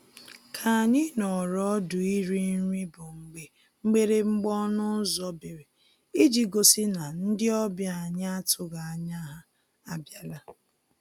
K'anyị nọọrọ ọdụ iri nri bụ mgbe mgbịrịgba ọnụ ụzọ bere iji gosi na ndị ọbịa anyị atụghị anya ha abịala